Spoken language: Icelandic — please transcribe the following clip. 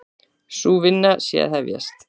Sú vinna sé að hefjast.